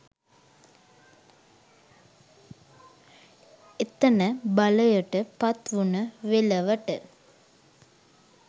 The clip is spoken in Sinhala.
එතන බලයට පත්වුණ වෙලවට